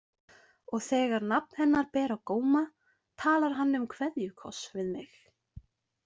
Og þegar nafn hennar ber á góma, talar hann um kveðjukoss við mig.